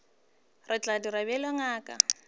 re tla dira bjalo ngaka